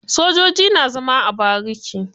Sojoji na zama a bariki.